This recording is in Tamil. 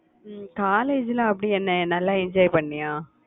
உம் college ல அப்படி என்ன நல்லா enjoy பண்ணியா?